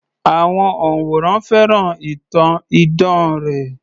Àwọn òǹwòran fẹ́ràn ìtàn idán rẹ̀